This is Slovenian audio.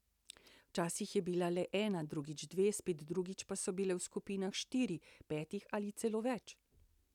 Včasih je bila le ena, drugič dve, spet drugič pa so bile v skupinah štirih, petih ali celo več.